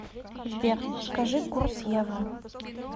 сбер скажи курс евро